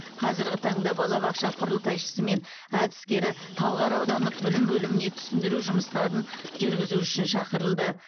қазірғі таңда балабақша құрылтайшысы мен әдіскері талғар аудандық білім бөліміне түсіндіру жұмыстарын жүргізу үшін шақырылды